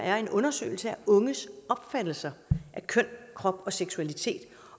er en undersøgelse af unges opfattelser af køn krop og seksualitet